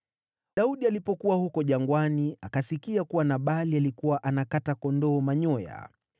Daudi alipokuwa huko jangwani, akasikia kuwa Nabali alikuwa anakata kondoo manyoya.